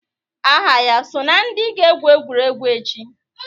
Aha ya so na ndị ga-egwu egwuregwu echi?